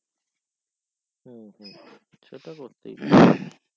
হুম হুম হুম সে তো করতেই